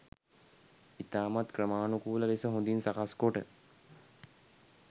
ඉතාමත් ක්‍රමාණුකූල ලෙස හොඳින් සකස් කොට